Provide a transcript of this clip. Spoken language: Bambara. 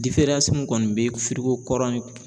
min kɔni bɛ kɔrɔ ni